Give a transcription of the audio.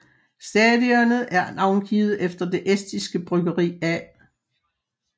Stadionet er navngivet efter det estiske bryggeri A